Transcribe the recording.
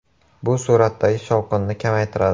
Bu suratdagi “shovqin”ni kamaytiradi.